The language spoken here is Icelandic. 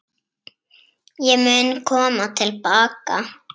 Ég mun koma til baka.